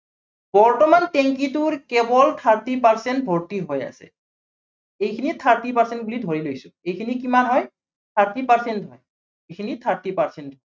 বৰ্তমান টেংকীটোৰ কেৱল thirty percent ভৰ্তি হৈ আছে। এইখিনি thirty percent বুলি ধৰি লৈছো। এইখিনি কিমান হয়, thirty percent এইখিনি thirty percent